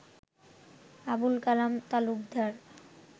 Abul Kalam Talukdar